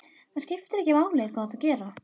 Það skiptir ekki máli hvað þú ert að gera.